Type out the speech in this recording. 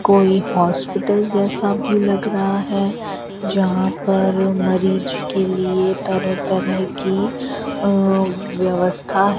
कोई हॉस्पिटल जैसा भी लग रहा है जहां पर मरीज के लिए तरह तरह की अ व्यवस्था है।